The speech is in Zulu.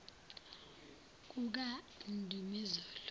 kukandumezulu